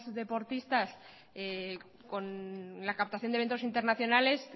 deportistas con la captación de eventos internacionales